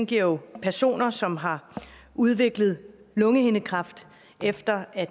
giver jo personer som har udviklet lungehindekræft efter at